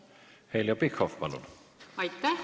Heljo Pikhof, palun!